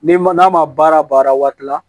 N'i ma n'a ma baara baara waati la